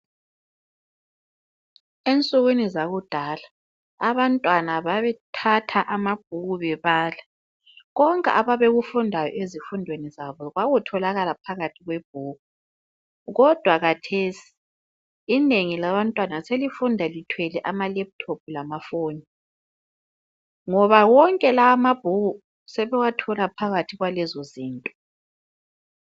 Ensukwini zakudala abantwana babethatha amabhuku bebala. Konke ababekufunda ezifundweni zabo kwakutholakala phakathi kwebhuku. Kodwa kathesi inengi labantwana selifunda lithwele ama laptop lama foni ngoba wonke lawa amabhuku sebewathola phakathi kwalezo zinto.